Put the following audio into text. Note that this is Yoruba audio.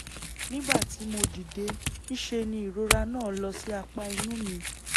nígbà tí mo dìde ńṣe ni ìrora náà lọ sí apá inú mi